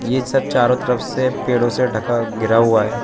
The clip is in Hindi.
ये सब चारों तरफ से पेड़ों से ढका घिरा हुआ है।